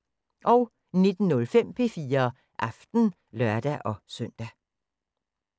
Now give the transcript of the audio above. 19:05: P4 Aften (lør-søn)